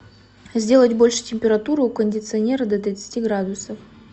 сделать больше температуру у кондиционера до тридцати градусов